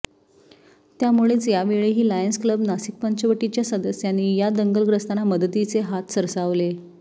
त्यामुळेच यावेळीही Lions Club Nashik पंचवटीच्या सदस्यांनी ह्या दंगलग्रस्तांना मदतीचे हाथ सरसावले